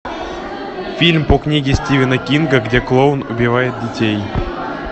фильм по книге стивена кинга где клоун убивает детей